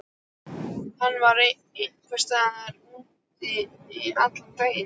Hann vann einhvers staðar úti allan daginn.